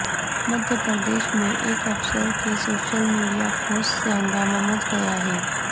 مدھیہ پردیش میں ایک افسر کے سوشل میڈیا پوسٹ سے ہنگامہ مچ گیا ہے